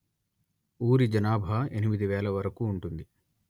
ఊరి జనాభా ఎనిమిది వేల వరకు ఉంటుంది